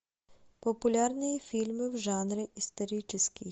популярные фильмы в жанре исторический